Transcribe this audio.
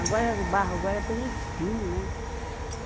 Agora o barro agora tem espinho, né?